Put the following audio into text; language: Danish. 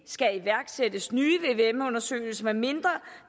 skal iværksættes nye vvm undersøgelser medmindre